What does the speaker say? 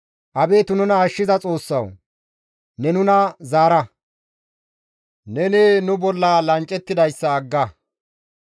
Abeet nuna ashshiza Xoossawu! Ne nuna zaara; Neni nu bolla lanccettidayssa agga.